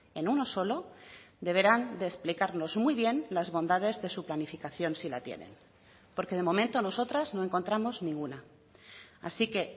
en uno solo deberán de explicarnos muy bien las bondades de su planificación si la tienen porque de momento nosotras no encontramos ninguna así que